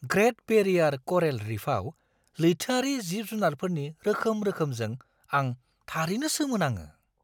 Great barrier coral रीफआव लैथोआरि जिब-जुनारफोरनि रोखोम-रोखोमजों आं थारैनोसोमोनाङो!